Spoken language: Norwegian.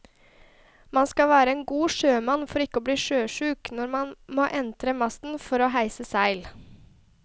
Man skal være en god sjømann for ikke å bli sjøsyk når man må entre masten for å heise seil.